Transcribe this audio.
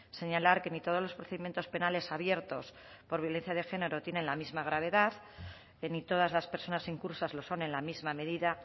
señalar que ni todos los procedimientos penales abiertos por violencia de género tienen la misma gravedad ni todas las personas incursas lo son en la misma medida